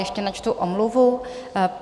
Ještě načtu omluvu.